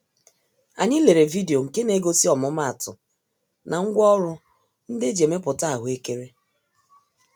Anyị lere video nke negosi ọmụma-atụ, na ngwá ọrụ ndị eji emepụta ahụekere.